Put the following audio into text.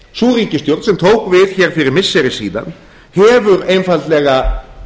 sú ríkisstjórn sem tók við hér fyrir missiri síðan hefur einfaldlega